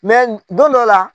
don dɔ la